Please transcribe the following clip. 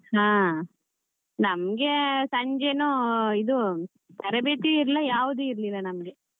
ಹಾ ನಮ್ಗೆ ಸಂಜೆನೂ ಇದು ತರಬೇತಿ ಇರ್ಲಿಲ್ಲ ಯಾವ್ದು ಇರಲಿಲ್ಲ ನಮ್ಗೆ.